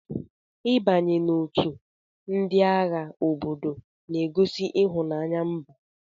I banye n'otu ndị agha obodo na-egosi ịhụnanya mba.